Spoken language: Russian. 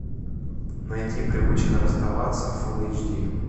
найти привычка расставаться фул эйч ди